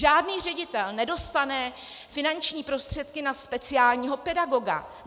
Žádný ředitel nedostane finanční prostředky na speciálního pedagoga.